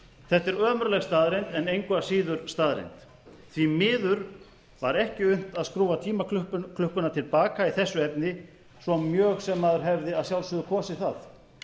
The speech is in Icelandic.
þetta er ömurleg staðreynd en engu að síður staðreynd því miður var ekki unnt að skrúfa tímaklukkuna til baka í þessu efni svo mjög sem maður hefði að sjálfsögðu kosið það